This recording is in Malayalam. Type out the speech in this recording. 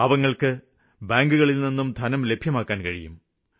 പാവങ്ങള്ക്ക് ബാങ്കുകളില്നിന്നും ധനം ലഭ്യമാക്കാന് കഴിയും